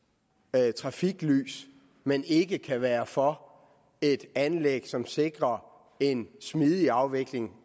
med trafiklys men ikke kan være for et anlæg som sikrer en smidig afvikling